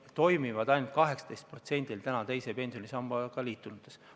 Need toimivad ainult 18%-l praegu teise pensionisambaga liitunutest.